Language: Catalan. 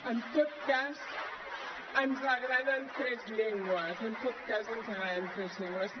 en tot cas ens agraden tres llengües en tot cas ens agraden tres llengües